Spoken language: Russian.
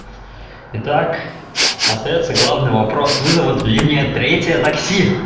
итак остаётся главный вопрос вызовут ли мне третье такси